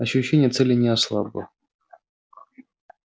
ощущение цели не ослабло